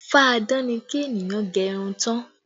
Fá-a-dán ni kí ènìyàn gẹ irun tán